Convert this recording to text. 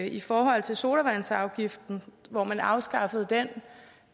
i forhold til sodavandsafgiften hvor man afskaffede den